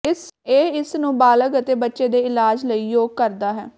ਇਹ ਇਸ ਨੂੰ ਬਾਲਗ ਅਤੇ ਬੱਚੇ ਦੇ ਇਲਾਜ ਲਈ ਯੋਗ ਕਰਦਾ ਹੈ